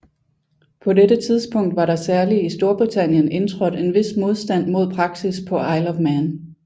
På dette tidspunkt var der særlig i Storbritannien indtrådt en vis modstand mod praksis på Isle of Man